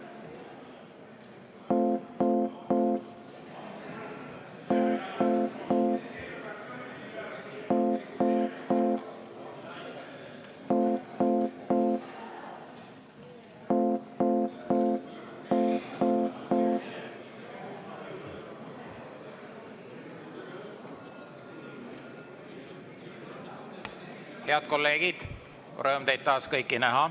Tore on taas teid kõiki näha.